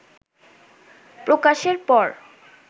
প্রকাশের পর